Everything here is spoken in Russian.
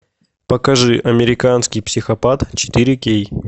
покажи американский психопат четыре кей